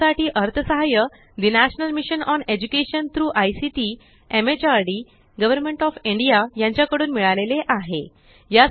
यासाठी अर्थसहाय्य ठे national mission on education through ICT MHRD government of India यांच्या कडून मिळाले आहे